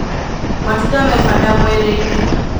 Matunda me bata mwĩrĩ-nĩ.